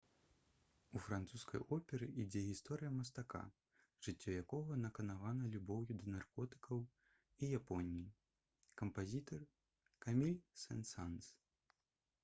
у французскай оперы ідзе гісторыя мастака «жыццё якога наканавана любоўю да наркотыкаў і японіі» кампазітар — каміль сен-санс